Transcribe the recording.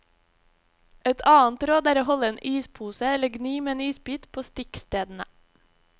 Et annet råd er å holde en ispose eller gni med en isbit på stikkstedene.